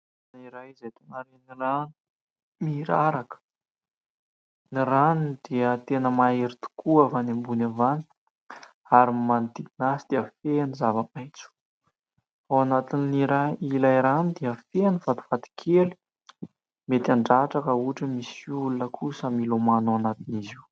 Toerana iray izay ahitana rano miraraka, ny rano dia tena mahery tokoa avy any ambony avy any, ary ny manodidina azy dia feno zava-maitso ; ao anatin'ny ilay rano dia feno vatovato kely mety handratra raha ohatra misy olona kosa milomana ao anatin'izy io.